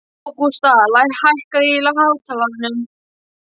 Ágústa, hækkaðu í hátalaranum.